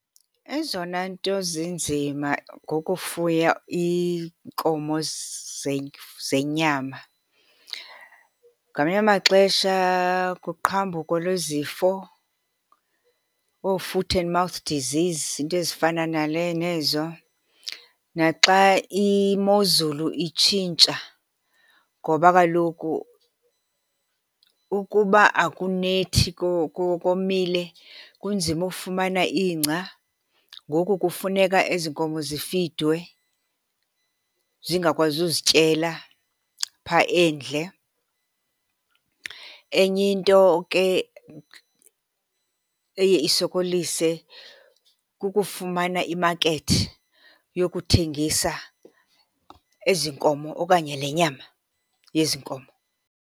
Ezona nto zinzima ngokufuya iinkomo zenyama ngamanye amaxesha kuqhambuko lwezifo, oo-foot and mouth disease, iinto ezifana nezo. Naxa imozulu itshintsha, ngoba kaloku ukuba akunethi komile kunzima ukufumana ingca, ngoku kufuneka ezi nkomo zifidwe zingakwazi uzityela phaa endle. Enye into ke eye isokolise kukufumana imakethi yokuthengisa ezi nkomo okanye le nyama yezi nkomo.